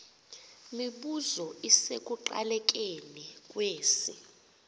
mibuzo isekuqalekeni kwesi